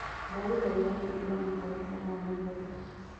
ndagũthaĩtha hĩngũra mũtaratara wa mohoro